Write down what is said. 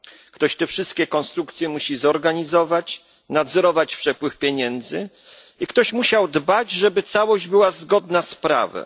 Ktoś te wszystkie konstrukcje musi zorganizować, nadzorować przepływ pieniędzy i ktoś musiał dbać, żeby całość była zgodna z prawem.